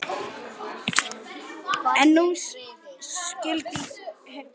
En nú skyldi hefnt.